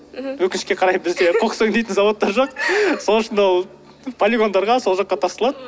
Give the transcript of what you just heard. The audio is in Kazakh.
мхм өкінішке қарай бізде қоқыс өңдейтін зауыттар жоқ сол үшін ол полигондарға сол жаққа тасталады